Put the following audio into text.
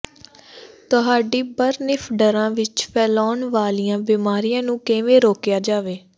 ਤੁਹਾਡੀ ਬਰਨਿੱਫਡਰਾਂ ਵਿਚ ਫੈਲਣ ਵਾਲੀਆਂ ਬਿਮਾਰੀਆਂ ਨੂੰ ਕਿਵੇਂ ਰੋਕਿਆ ਜਾਵੇ